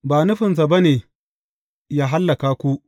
Ba nufinsa ba ne yă hallaka ku.